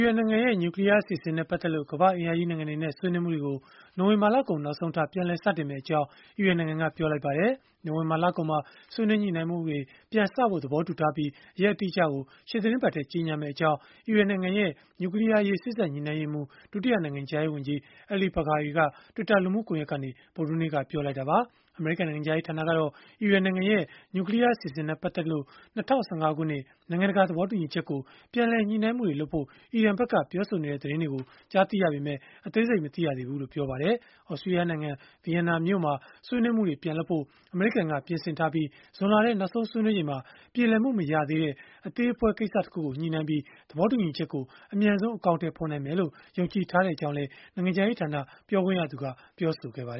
ရန်နိုင်ငံရဲ့ နျူကလီးယားအစီအစဉ်နဲ့ ပတ်သက်လို့ ကမ္ဘာ့အင်အားကြီး နိုင်ငံတွေနဲ့ ဆွေးနွေးမှုတွေကို နိုဝင်ဘာလကုန် နောက်ဆုံးထား ပြန်လည်စတင်မှာဖြစ်ကြောင်း အီရန်နိုင်ငံက ပြောဆိုလိုက်ပါတယ်။ နိုဝင်ဘာလကုန်မှာ ဆွေးနွေးညှိနှိုင်းမှုတွေ ပြန်စဖို့ သဘောတူထားပြီး၊ ရက်အတိအကျကို ရှေ့သီတင်းပတ်မှာ ကြေညာမှာဖြစ်ကြောင်း အီရန်နိုင်ငံရဲ့ နျူကလီးယားအရေး စေ့စပ်ညှိနှိုင်းရေးမှူး၊ ဒုတိယနိုင်ငံခြားရေး ဝန်ကြီး Ali Bagheri က Twitter လူမှုကွန်ရက်မှာ ဗုဒ္ဓဟူးနေ့က ပြောလိုက်တာပါ။ အမေရိကန် နိုင်ငံခြားရေးဌာနကတော့ အီရန်နိုင်ငံရဲ့ နျူကလီးယား အစီအစဉ်နဲ့ ပတ်သက်လို့ ၂၀၁၅ ခုနှစ် နိုင်ငံတကာ သဘောတူညီချက်ကို ပြန်လည်ညှိနှိုင်းမှုတွေလုပ်ဖို့ အီရန်ဖက်က ပြောဆိုနေတဲ့ သတင်းတွေ ကြားသိရပေမဲ့ အသေးစိတ်မသိကြောင်း ပြောပါတယ်။ သြစတြီးယားနိုင်ငံ ဗီယန်နာမြို့မှာ ဆွေးနွေးမှုတွေ ပြန်လုပ်ဖို့ အမေရိကန်က ပြင်ဆင်ထားပြီး၊ ဇွန်လထဲ နောက်ဆုံးဆွေးနွေးချိန်မှာ ပြေလည်မှု မရသေးတဲ့ အသေးအဖွဲ ကိစ္စတချို့ကို ညှိနှိုင်းပြီး သဘောတူညီချက်ကို အမြန်ဆုံး အကောင်အထည်ဖော်နိုင်မယ်လို့ ယုံကြည်ထားကြောင်းလည်း နိုင်ငံခြားရေးဌာန ပြောခွင့်ရသူက ပြောဆိုခဲ့တာပါ။